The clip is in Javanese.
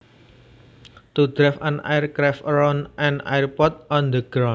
To drive an aircraft around an airport on the ground